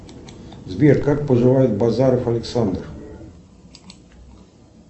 сбер как поживает базаров александр